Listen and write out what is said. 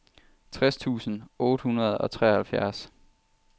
tres tusind otte hundrede og treoghalvfjerds